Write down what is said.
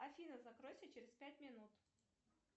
афина закройся через пять минут